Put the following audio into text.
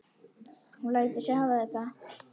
Hún lætur sig hafa þetta.